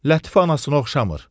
Lətif anasına oxşamır.